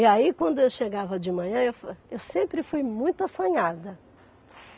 E aí, quando eu chegava de manhã, eu fa eu sempre fui muito assanhada.